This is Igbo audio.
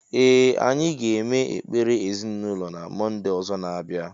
Ee anyi ga-eme ekpere ezịnaụlọ na mọnde ọzọ na- abịa.